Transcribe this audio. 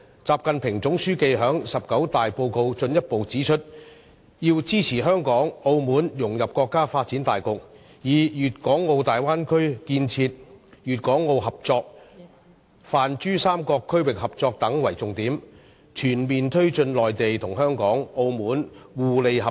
習近平總書記在中國共產黨第十九次全國代表大會的報告中進一步指出，要支持香港和澳門融入國家發展大局，以粵港澳大灣區建設、粵港澳合作、泛珠三角區域合作等為重點，全面推進內地、香港和澳門互利合作。